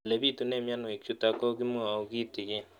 Ole pitune mionwek chutok ko kimwau kitig'�n